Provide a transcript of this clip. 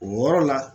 O yɔrɔ la